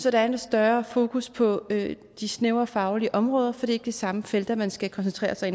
at der er en større fokus på de snævre faglige områder for det er ikke de samme felter man skal koncentrere sig